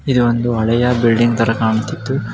ಇದು ಒಂದು ಹಳೆಯ ಬಿಲ್ಡಿಂಗ್ ತರ ಕಾಣುತಿದ್ದು --